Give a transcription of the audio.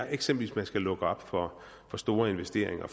eksempel skal lukke op for store investeringer og